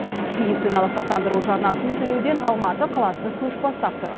медициналық сақтандыру жарнасын төлеуден алматы қаласы көш бастап тұр